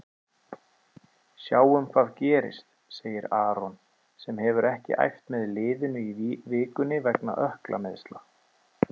Sjáum hvað gerist, segir Aron sem hefur ekki æft með liðinu í vikunni vegna ökklameiðsla.